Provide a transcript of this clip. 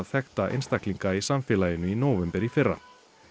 þekkta einstaklinga í samfélaginu í nóvember í fyrra